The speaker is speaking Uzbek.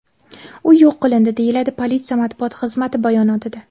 U yo‘q qilindi”, deyiladi politsiya matbuot xizmati bayonotida.